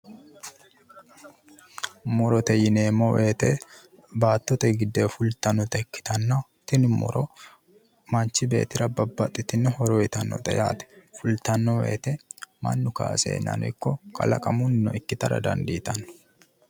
murote yineemmo wote baattote giddonni fultannota ikkitanna tini muro manchi beettira babbaxitino horo uyiitannote yaate fultanno wote mannu kaaseennano ikko kalaaqamunnni ikkitara dandiitanno.